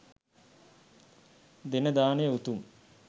දෙන දානය උතුම්.